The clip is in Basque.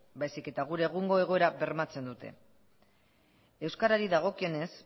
baizik eta gure egungo egoera bermatzen dute euskarari dagokionez